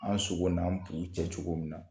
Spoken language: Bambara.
An sogo n'an bu cɛ cogo min na